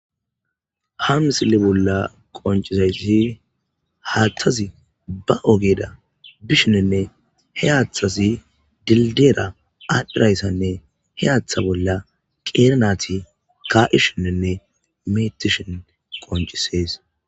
Ha misile bolla qonccizayssi haathazi ba ogera bishininne hehaathazi dilddiyera aadhizayssanne he haatha bolla qeera nayti kaa7ishininne meettishin qonccisees